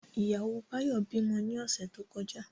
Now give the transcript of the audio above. Ìyàwó Báyọ̀ bímọ ní ọ̀sẹ̀ tó kọjá